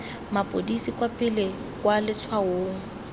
mapodisi kwa pele kwa letshwaong